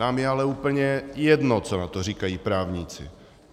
Nám je ale úplně jedno, co na to říkají právníci.